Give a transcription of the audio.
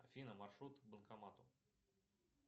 афина маршрут к банкомату